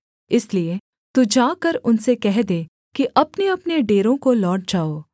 इसलिए तू जाकर उनसे कह दे कि अपनेअपने डेरों को लौट जाओ